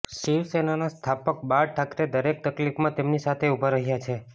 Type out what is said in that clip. શિવસેનાના સ્થાપક બાળ ઠાકરે દરેક તકલીફમાં તેમની સાથે ઊભા રહ્યા છે